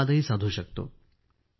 संवादही साधू शकतो